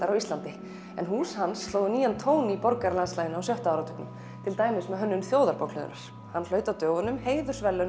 á Íslandi en hús hans slógu nýjan tón í borgarlandslaginu á sjötta áratugnum til dæmis með hönnun Þjóðarbókhlöðunnar hann hlaut á dögunum heiðursverðlaun